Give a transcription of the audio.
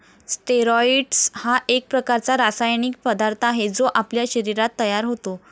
Steroids हा एक प्रकारचा रासायनिक पदार्थ आहे, जो आपल्या शरीरात तयार होतो.